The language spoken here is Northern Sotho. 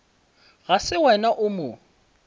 ga se wena o mo